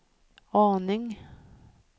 aning